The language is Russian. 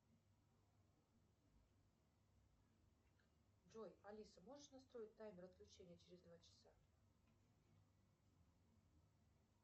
джой алиса можешь настроить таймер отключения через два часа